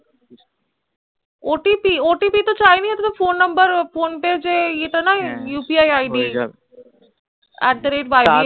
otp OTP তো চায়নি ও তো phone number phone pay এর যে এয়ে তা নয় যে upi id at the rate ybl